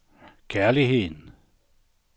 kærligheden